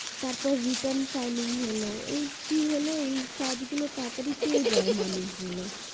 তার পর return filing হলো কি হলো এই কাজ গুলো তাড়াতাড়ি পেয়ে যায় মানুষ গুলো